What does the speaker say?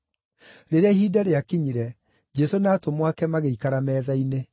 Rĩrĩa ihinda rĩakinyire, Jesũ na atũmwo ake magĩikara metha-inĩ.